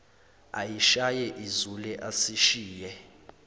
ayishaye izule asishiye